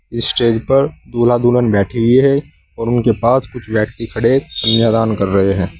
इस स्टेज पर दूल्हा दुल्हन बैठी हुई है और उनके पास कुछ व्यक्ति खड़े कन्यादान कर रहे हैं।